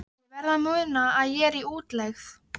Ég verð að muna að ég er í útlegð.